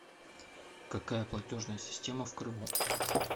какая платежная система в крыму